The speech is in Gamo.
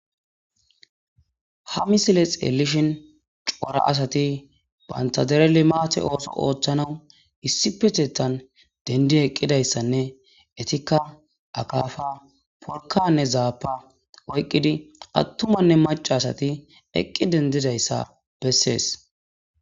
Ha misile xeelishn cora asati banta dere limate ootho oothanawu issippetethani denidi eqidatdanne eetika akafa, porkane zafa oykidi atumanne maca asati eqi dendizaysa besesi.